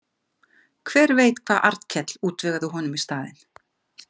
Hver veit hvað Arnkell útvegaði honum í staðinn?